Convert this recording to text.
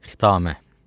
Xitamə.